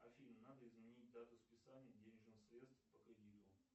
афина надо изменить дату списания денежных средств по кредиту